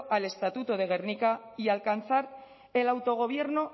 al estatuto de gernika y alcanzar el autogobierno